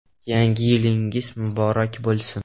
Yangi yilingiz muborak bo‘lsin!